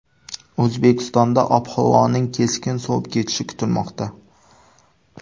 O‘zbekistonda ob-havoning keskin sovib ketishi kutilmoqda.